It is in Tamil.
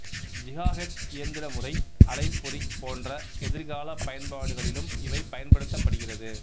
ஜிகாஹெர்ட்ஸ் இயந்திரமுறை அலைப்பொறி போன்ற எதிர்காலப் பயன்பாடுகளிலும் இவை பயன்படுத்தப்படுகிறது